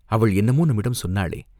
அவள் என்னமோ நம்மிடம் சொன்னாளே?